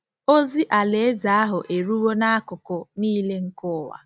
Ozi Alaeze ahụ eruwo n’akụkụ nile nke ụwa.